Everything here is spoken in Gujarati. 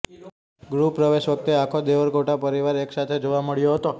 ગૃહપ્રવેશ વખતે આખો દેવરકોંડા પરિવાર એકસાથે જોવા મળ્યો હતો